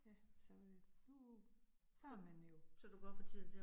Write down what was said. Ja så øh nu, så har man jo